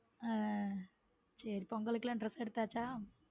உம் சேரி பொங்கலுக்கு லாம் dress எடுத்தாச்ச.